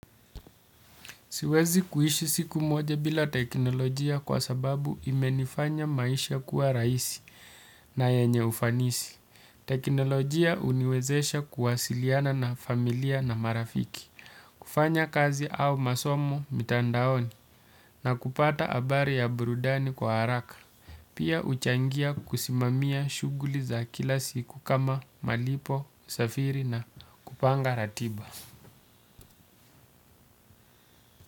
Siwezi kuishi siku moja bila teknolojia kwa sababu imenifanya maisha kuwa rahisi na yanye ufanisi. Teknolojia huniwezesha kuwasiliana na familia na marafiki, kufanya kazi au masomo mitandaoni na kupata habari ya burudani kwa haraka. Pia huchangia kusimamia shughuli za kila siku kama malipo, safiri na kupanga ratiba.